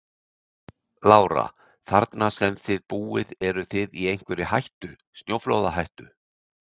Lára: Þarna sem að þið búið eruð þið í einhverri hættu, snjóflóðahættu?